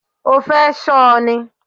O fẹ́ ṣọ ni?